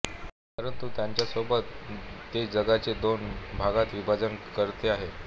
परंतु त्याचसोबत ते जगाचे दोन भागात विभाजन करते आहे